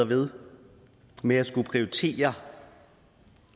ved med at skulle prioritere